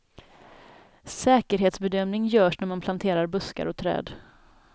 Säkerhetsbedömning görs när man planterar buskar och träd.